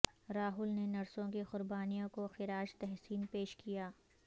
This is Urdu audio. راہول نے نرسوں کی قربانیوں کو خراج تحسین پیش کیا